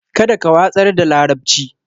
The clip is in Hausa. Kada ka watsar da larabci.